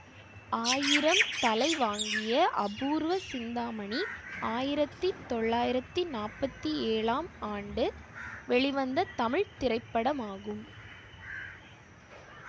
ஆயிரம் தலைவாங்கிய அபூர்வ சிந்தாமணி ஆயிரத்தி தொள்ளாயிரத்தி நாற்பத்தி ஏழாம் ஆண்டு வெளிவந்த தமிழ் திரைப்படமாகும்